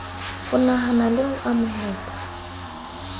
ho nahana le ho amohela